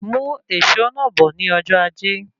Mú èsó náà bó ní ọjọ́ ajẹ́